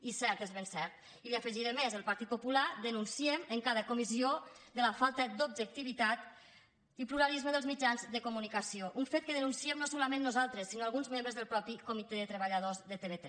i és cert és ben cert i li afegiré més el partit popular denunciem en cada comissió la falta d’objectivitat i pluralisme dels mitjans de comunicació un fet que denunciem no solament nosaltres sinó alguns membres del mateix comitè de treballadors de tv3